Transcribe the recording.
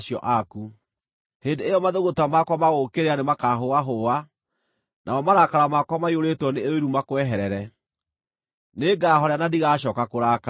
Hĩndĩ ĩyo mathũgũta makwa ma gũgũũkĩrĩra nĩmakahũahũa, namo marakara makwa maiyũrĩtwo nĩ ũiru makweherere. Nĩngahoorera na ndigacooka kũrakara.